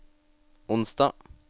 onsdag